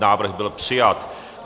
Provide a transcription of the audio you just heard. Návrh byl přijat.